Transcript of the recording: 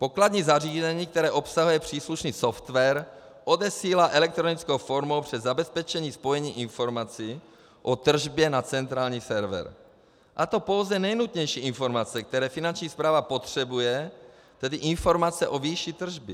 Pokladní zařízení, které obsahuje příslušný software, odesílá elektronickou formou přes zabezpečené spojení informace o tržbě na centrální server, a to pouze nejnutnější informace, které Finanční správa potřebuje, tedy informace o výši tržby.